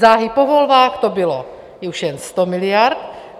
Záhy po volbách to bylo už jen 100 miliard.